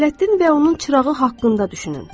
Ələddin və onun çırağı haqqında düşünün.